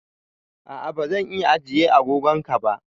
A'a bazan iya ajiye agogon ka ba